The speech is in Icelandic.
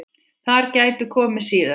Þær gætu komið síðar.